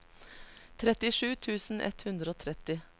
trettisju tusen ett hundre og tretti